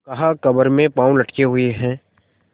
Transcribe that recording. कहाकब्र में पाँव लटके हुए हैं